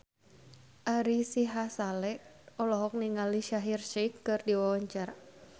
Ari Sihasale olohok ningali Shaheer Sheikh keur diwawancara